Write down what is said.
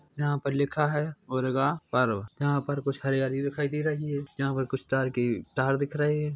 यहाँ पर लिखा है उरगा पर्व यहाँ पर कुछ हरियाली दिखाई दे रही है यहाँ पर कुछ तार के तार दिख रहे हैं।